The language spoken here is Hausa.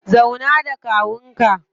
Zauna da kawun ka.